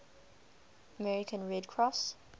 american red cross